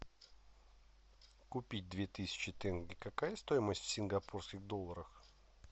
купить две тысячи тенге какая стоимость в сингапурских долларах